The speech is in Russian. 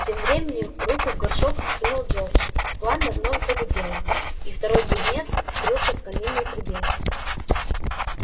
тем временем руку в горшок сунул джордж пламя вновь загудело и второй близнец скрылся в каминной трубе